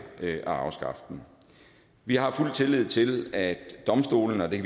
at afskaffe den vi har fuld tillid til at domstolene og det